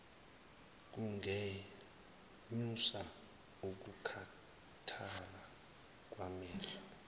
kungenyusa ukukhathala kwamehlo